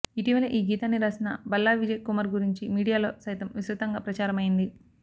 ఇటీవలే ఈ గీతాన్ని రాసిన బల్లా విజయ్ కుమార్ గురించి మీడియాలో సైతం విస్తృతంగా ప్రచారమయ్యింది